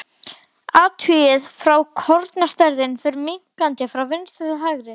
Athugið að kornastærðin fer minnkandi frá vinstri til hægri.